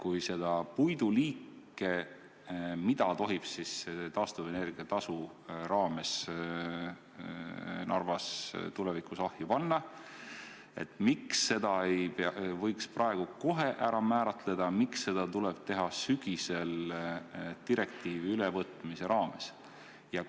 Miks seda puiduliiki, mida tohib taastuvenergia tasu raames Narvas tulevikus ahju panna, ei võiks praegu kohe kindlaks määrata, miks seda tuleb teha sügisel direktiivi ülevõtmise raames?